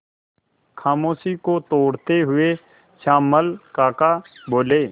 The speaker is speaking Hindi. खामोशी को तोड़ते हुए श्यामल काका बोले